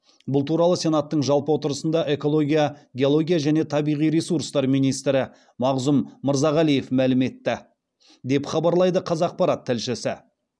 бұл туралы сенаттың жалпы отырысында экология геология және табиғи ресурстар министрі мағзұм мырзағалиев мәлім етті деп хабарлайды қазақпарат тілшісі